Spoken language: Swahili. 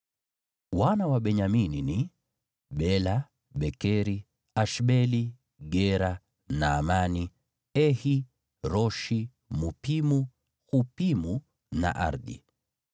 Wana wa Benyamini ni: Bela, Bekeri, Ashbeli, Gera, Naamani, Ehi, Roshi, Mupimu, Hupimu na Ardi.